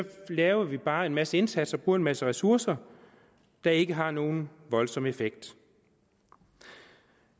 laver vi bare en masse indsatser og bruger en masse ressourcer der ikke har nogen voldsom effekt